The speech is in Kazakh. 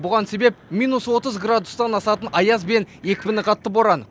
бұған себеп минус отыз градустан асатын аяз бен екпіні қатты боран